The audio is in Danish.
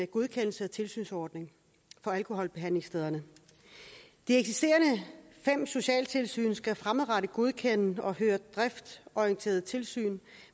godkendelses og tilsynsordning for alkoholbehandlingsstederne de eksisterende fem socialtilsyn skal fremadrettet godkende og føre driftsorienteret tilsyn